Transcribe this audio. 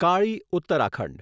Kali Uttarakhand